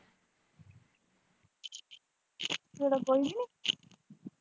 ਸਵੇਰੇ ਗਈ ਨੀ।